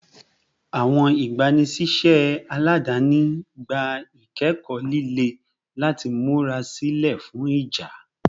Awọn igbanisiṣẹ aladani gba ikẹkọ lile lati mura silẹ fun ija